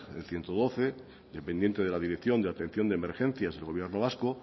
el ciento doce dependiente de la dirección de atención de emergencias del gobierno vasco